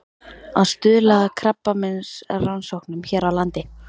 Að stuðla að krabbameinsrannsóknum hér á landi.